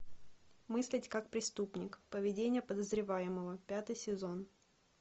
мыслить как преступник поведение подозреваемого пятый сезон